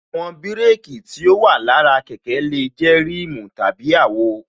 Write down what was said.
Àwọn bírékī tí ó wà lára kẹ̀kẹ́ lè jẹ́ rimu tàbí àwo